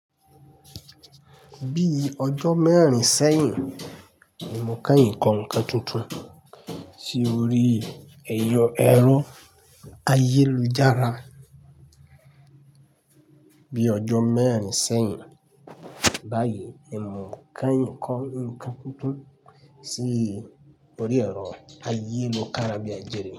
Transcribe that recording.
Bíi ọjọ́ mẹ́rin sẹ́yìn, ni kànyín kọ́ nǹkan tuntun sí orí ẹ̀rọ ayélujára. Bíi ọjọ́ mẹ́rin sẹ́yìn báyìí, ni kàyín kọ́ nǹkan tuntun sí orí ẹ̀rọ ayélukára bíi ajẹ́re.